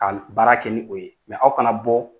Kal baara kɛ ni o ye, aw kana bɔ